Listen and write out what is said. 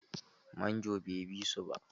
Manjon bai bi su ba.